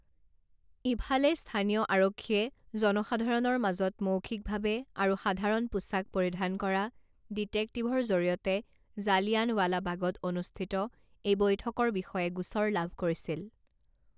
ইফালে, স্থানীয় আৰক্ষীয়ে জনসাধাৰণৰ মাজত মৌখিকভাৱে আৰু সাধাৰণ পোচাক পৰিধান কৰা ডিটেক্টিভৰ জৰিয়তে জালিয়ানৱালা বাগত অনুষ্ঠিত এই বৈঠকৰ বিষয়ে গোচৰ লাভ কৰিছিল।